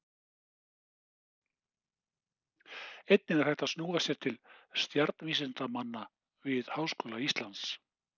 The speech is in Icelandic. Einnig er hægt að snúa sér til stjarnvísindamanna við Háskóla Íslands.